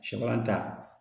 Samara ta